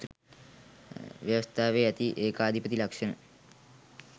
ව්‍යවස්ථාවේ ඇති ඒකාධිපති ලක්ෂණ